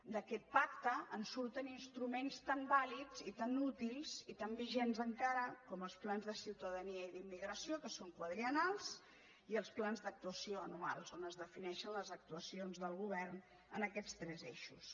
d’aquest pacte en surten instruments tan vàlids i tan útils i tan vigents encara com els plans de ciutadania i d’immigració que són quadriennals i els plans d’actuació anuals on es defineixen les actuacions del govern en aquests tres eixos